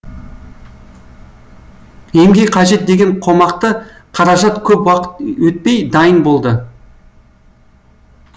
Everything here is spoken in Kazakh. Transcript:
емге қажет деген қомақты қаражат көп уақыт өтпей дайын болды